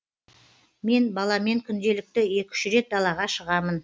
мен баламен күнделікті екі үш рет далаға шығамын